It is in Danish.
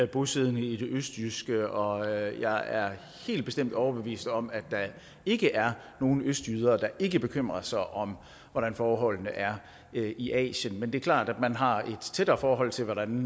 bosiddende i det østjyske og jeg er helt bestemt overbevist om at der ikke er nogen østjyder der ikke bekymrer sig om hvordan forholdene er i asien men det er klart at man har et tættere forhold til hvordan